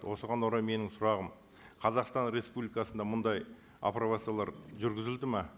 осыған орай менің сұрағым қазақстан республикасында мұндай апробациялар жүргізілді ме